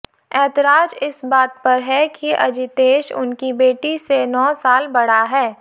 एतराज इस बात पर है कि अजितेश उनकी बेटी से नौ साल बड़ा है